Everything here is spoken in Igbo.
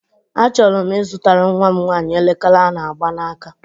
Achọrọ m ịzụtara nwam nwaanyị elekere a na-agba n'aka.